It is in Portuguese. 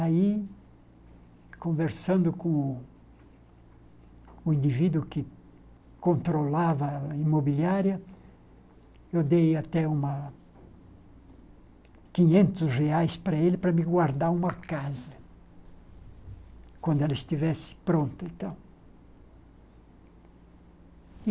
Aí, conversando com o indivíduo que controlava a imobiliária, eu dei até uma quinhentos reais para ele para me guardar uma casa, quando ela estivesse pronta e tal.